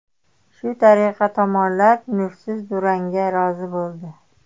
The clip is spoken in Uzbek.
Shu tariqa tomonlar nursiz durangga rozi bo‘ldi.